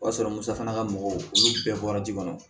O y'a sɔrɔ musaka mɔgɔw olu bɛɛ bɔra ji kɔnɔ